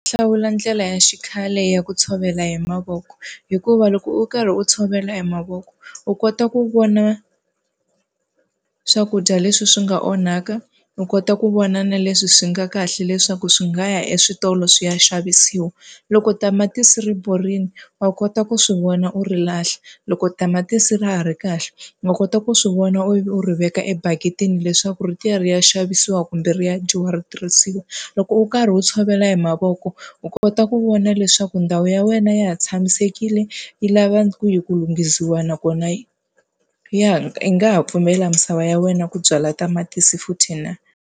Hlawula ndlela ya xikhale ya ku tshovela hi mavoko, hikuva loko u karhi u tshovela hi mavoko u kota ku vona swakudya leswi swi nga onhaka u kota ku vona na leswi swi nga kahle leswaku swi nga ya eswitolo swi ya xavisiwa. Loko tamatisi ri borile, wa kota ku swi vona u ri lahla. Loko tamatisi ra ha ri kahle, wa kota ku swi vona ivi u ri veka ebaketini leswaku ri ta ya ri ya xavisiwa kumbe ri ya dyiwa ri tirhisiwa. Loko u kha karhi u wu tshovela hi mavoko u kota ku vona leswaku ndhawu ya wena ya ha tshamisekile, yi lava kwihi ku lunghisiwa nakona yi ya yi nga ha pfumela misava ya wena ku byala tamatisi futhi na.